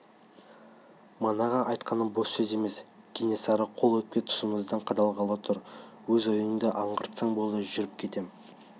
манағы айтқаным бос сөз емес кенесары қолы өкпе тұсымыздан қадалғалы тұр өз ойыңды аңғартсаң болды жүріп кетем